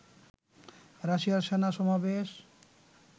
রাশিয়ার সেনা সমাবেশ